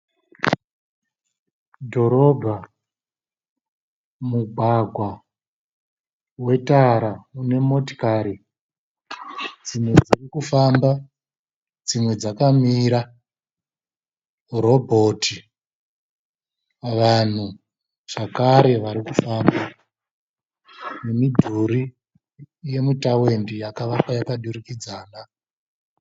Dhorobha mugwagwa wetara une motikari dzimwe dzikufamba dzimwe dzakamira . Robot vanhu zvakare vari kufamba nemidhuri yemutawendi yakawakwa yakadurikidzana.